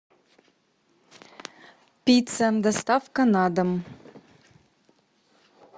пицца доставка на дом